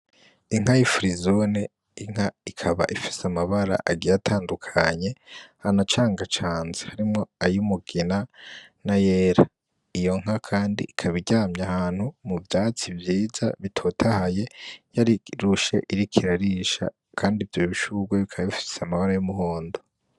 Inka y'ifirizone inka ikaba ifise amabara agiye atandukanye anacangacanze, harimwo ayo umugina na yera iyo nka kandi ikaba iryamye ahantu hari ivyatsi vyiza bitotahaye yarirushe iriko irarisha kandi ivyo bishurwe bikaba bifise amabara y'umuhondo .